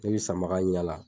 Min bi sanbaga yaala